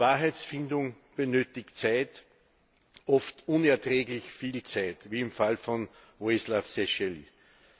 Wahrheitsfindung benötigt Zeit, oft unerträglich viel Zeit, wie im Fall von Vojislav Šešelj.